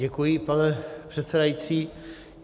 Děkuji, pane předsedající.